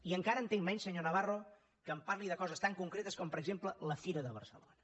i encara entenc menys senyor navarro que em parli de coses tan concretes com per exemple la fira de barcelona